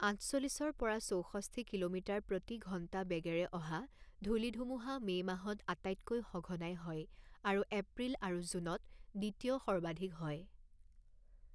আঠচল্লিছৰ পৰা চৌষষ্ঠি কিলোমিটাৰ প্ৰতি ঘণ্টা বেগেৰে অহা ধূলি-ধুমুহা মে' মাহত আটাইতকৈ সঘনাই হয় আৰু এপ্ৰিল আৰু জুনত দ্বিতীয় সৰ্বাধিক হয়।